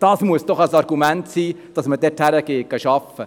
Das muss doch ein Argument sein, dass man dorthin arbeiten geht!